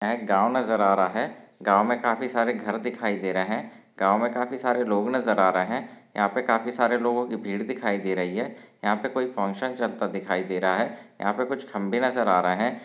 एक गाँव नज़र आ रहा है। गाँव मे काफी सारे घर दिखाई दे रहे। गाँव मे काफी सारे लोग नज़र आ रहे। यहाँ पे काफी सारे लोगो की भीड़ दिखाई दे रही है। यहाँ पे कोई फंक्शन चलता दिखाई दे रहा है। यहा पे कुछ खंबे नज़र आ रहे है।